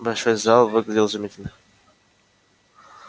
большой зал выглядел изумительно